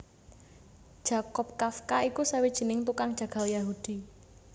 Jakob Kafka iku sawijining tukang jagal Yahudi